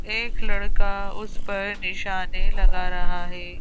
एक लड़का उस पर निशाने लगा रहा है।